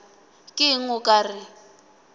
ke eng o ka re